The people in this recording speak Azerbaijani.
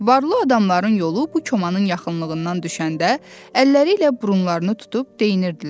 Varlı adamların yolu bu komanın yaxınlığından düşəndə əlləri ilə burunlarını tutub deyinirdilər.